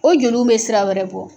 O joliw bɛ sira wɛrɛ bɔ.